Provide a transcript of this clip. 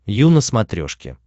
ю на смотрешке